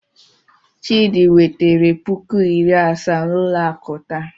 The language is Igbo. Chidi wetere puku iri asaa n'ụlọ akụ taa.